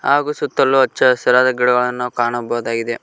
ಹಾಗು ಸುತ್ತಲು ಹಚ್ಚಹಸಿರಾದ ಗಿಡಗಳನ್ನು ನಾವು ಕಾಣಬಹುದಾಗಿದೆ.